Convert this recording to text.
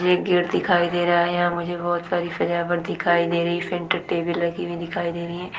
यह एक गेट दिखाई दे रहा है मुझे बहुत सारी सजावट दिखाई दे रहा है फिन टीवी लगी हुए दिखाई दे रही है।